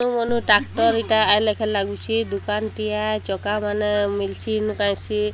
Manu tractor ଏଇଟା ଆଇ ଲେଖେ ଲାଗୁଛି ଦୁକାନ୍ ଟିଆ ଚକା ମାନେ ମିଲ୍ ଛିନ୍ କାଇଁ ସି।